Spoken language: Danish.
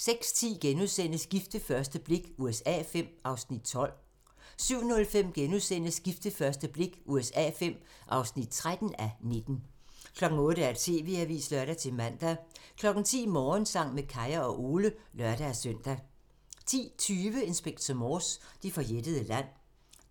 06:10: Gift ved første blik USA V (12:19)* 07:05: Gift ved første blik USA V (13:19)* 08:00: TV-avisen (lør-man) 10:00: Morgensang med Kaya og Ole (lør-søn) 10:20: Inspector Morse: Det forjættede land